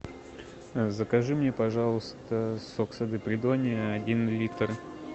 закажи мне пожалуйста сок сады придонья один литр